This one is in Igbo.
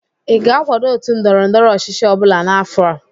ị ga-akwado otu ndọrọ ndọrọ ọchịchị ọbụla n'afọ a?